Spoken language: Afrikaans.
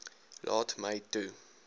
laat my toe